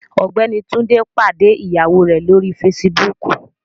Ọgbẹni Tunde pade iyawo rẹ lori Fèsìbúukù